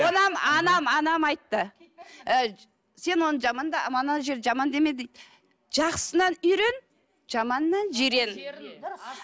анам анам айтты ыыы сен оны ана жер жаман деме дейді жақсысынан үйрен жаманынан жирен жерін дұрыс